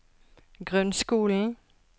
grunnskolen